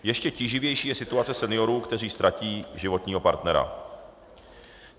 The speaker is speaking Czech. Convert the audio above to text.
Ještě tíživější je situace seniorů, kteří ztratí životního partnera.